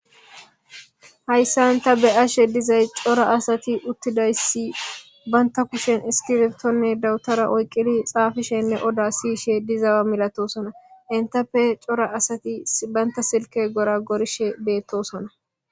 hayssan ta be'ashe dizay cora asati uttidayssi baynta kushen iskifeptonne dawutara oyqqili xaafishenne oda siyishe dizawa milatosona intappe cora asati baynta silke gora gorishe beettosona